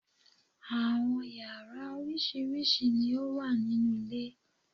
Àwọn yàrá oríṣiríṣi ni o wà nínú ilé